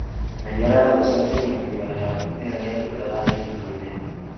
Menyera gũchenjanagia mimera yaku na ĩrĩa ĩrutaga naitrojeni.